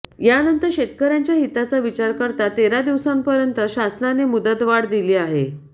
यानंतर शेतकर्यांच्या हिताचा विचार करता तेरा दिवसांपर्यंत शासनाने मुदतवाढ दिली आहे